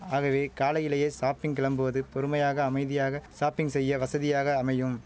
ஆகவே காலையிலேயே ஷாப்பிங் கிளம்புவது பொறுமையாக அமைதியாக ஷாப்பிங் செய்ய வசதியாக அமையும்